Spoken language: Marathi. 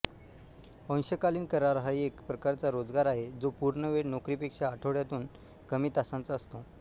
अंशकालीन करार हा एक प्रकारचा रोजगार आहे जो पूर्णवेळ नोकरीपेक्षा आठवड्यातून कमी तासांचा असतो